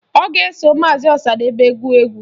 Ọ ga-eso maazi Ọsadebe gụọ egwu